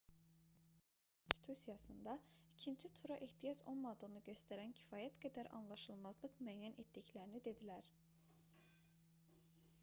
siyasətçilər əfqanıstan konstitusiyasında ikinci tura ehtiyac olmadığını göstərən kifayət qədər anlaşılmazlıq müəyyən etdiklərini dedilər